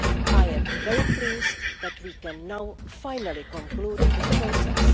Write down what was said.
I am very pleased that we can now finally conclude this process.